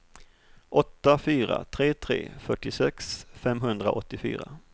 åtta fyra tre tre fyrtiosex femhundraåttiofyra